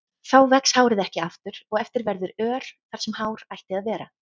Þá vex hárið ekki aftur og eftir verður ör þar sem hár ætti að vera.